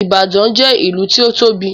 Ìbàdàn jẹ́ ìlú tí ó tóbi